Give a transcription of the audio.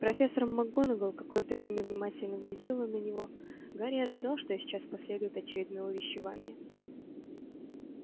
профессор макгонагалл какое-то время внимательно глядела на него гарри ожидал что сейчас последует очередное увещевание